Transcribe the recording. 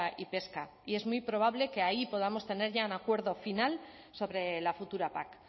y pesca y es muy probable que ahí podamos tener ya un acuerdo final sobre la futura pac